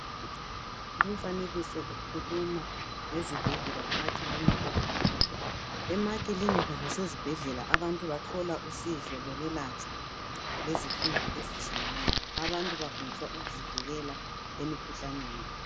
Lumfanekiso ukhuluma ngezibhedlela lamakilinika. Emakilinika lasezibhedlela abantu bathola usizo lokwelatshwa lezifundo ezitshiyeneyo. Abantu bafundiswa ukuzivikela emikhuhlaneni.